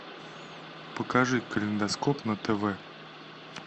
покажи калейдоскоп на тв